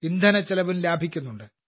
ഇന്ധനച്ചെലവും ലാഭിക്കുന്നുണ്ട്